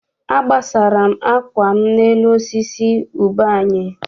Agbasara m akwa m n'elu osisi ube anyị.